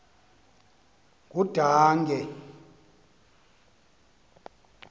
ngudange